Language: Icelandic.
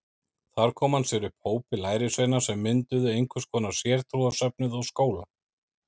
Þar kom hann sér upp hópi lærisveina sem mynduðu einhvers konar sértrúarsöfnuð og skóla.